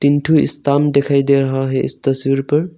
तीन ठो स्टंप दिखाई दे रहा है इस तस्वीर पर।